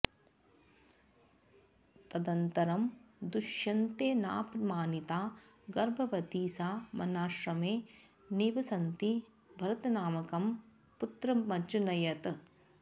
तदनन्तरं दुष्यन्तेनापमानिता गर्भवती सा वनाश्रमे निवसन्ती भरतनामकं पुत्रमजनयत्